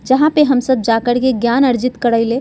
जहाँ पे हम सब जाकर के ज्ञान अर्जित करईले।